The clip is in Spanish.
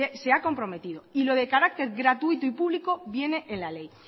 se ha comprometido y lo de carácter gratuito y público viene en la ley